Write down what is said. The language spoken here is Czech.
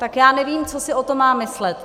Tak já nevím, co si o tom mám myslet.